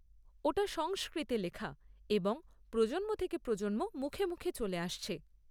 ওটা সংস্কৃতে লেখা এবং প্রজন্ম থেকে প্রজন্ম মুখে মুখে চলে আসছে।